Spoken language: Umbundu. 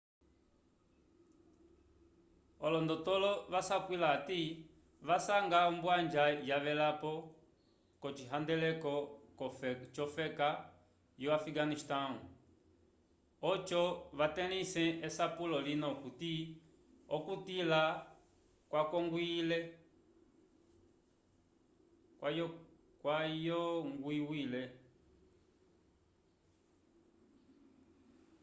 olondotolo vasapwila hati vasanga ombwanja yavelapo k'ocihandeleko c'ofeka yo-afikanistãwu oco vatelĩse esapulo lina okuti okutila kwayongwiwile